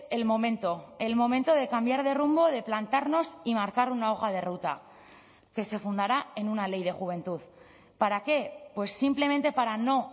el momento el momento de cambiar de rumbo de plantarnos y marcar una hoja de ruta que se fundará en una ley de juventud para qué pues simplemente para no